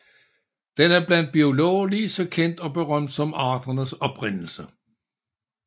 Den er blandt biologer lige så kendt og berømt som Arternes Oprindelse